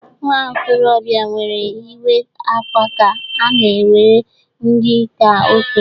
Nwa okorobịa mere iwa akwa ka a na-ewere dị ka okenye